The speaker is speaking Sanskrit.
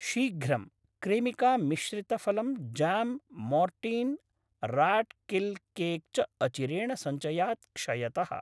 शीघ्रं, क्रेमिका मिश्रितफलम् जाम् मोर्टीन् राट् किल् केक् च अचिरेण सञ्चयात् क्षयतः।